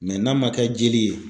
n'a man kɛ jeli ye